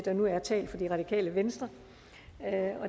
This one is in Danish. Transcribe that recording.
der nu er talt for det radikale venstre